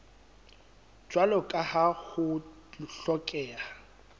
jwalo ka ha ho hlokeha